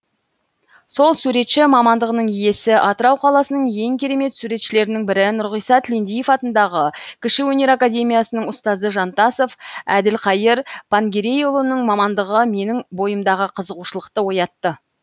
сол суретші мамандығының иесі атырау қаласының ең керемет суретшілерінің бірі нұрғиса тілендиев атындағы кіші өнер академиясының ұстазы жантасов әділқайыр пангерейұлының мамандығы менің бойымдағы қызығушылықты оятты